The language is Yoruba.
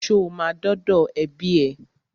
Ṣo ma dọ́dọ̀ ẹbí ẹ?